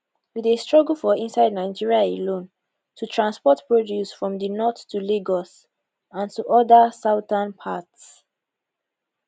we dey struggle for inside nigeria alone to transport produce from di north to lagos and to oda southern parts